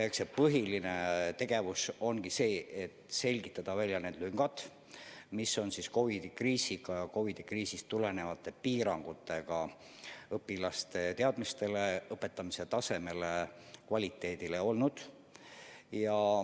Eks põhiline tegevus ongi olnud see, et selgitada välja need lüngad, mis COVID-i kriisist tulenenud piirangute tõttu õpilaste teadmistes ja õpetamise kvaliteedis on.